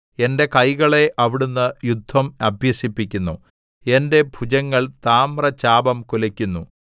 എന്റെ കൈകളെ അവിടുന്ന് യുദ്ധം അഭ്യസിപ്പിക്കുന്നു എന്റെ ഭുജങ്ങൾ താമ്രചാപം കുലക്കുന്നു